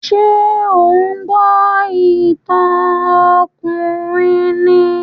Ṣé ò ń gbọ́ ìtàn ọkùnrin ni?